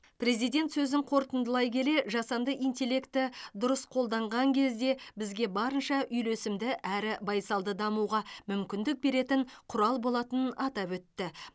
президент сөзін қорытындылай келе жасанды интеллекті дұрыс қолданған кезде бізге барынша үйлесімді әрі байсалды дамуға мүмкіндік беретін құрал болатынын атап өтті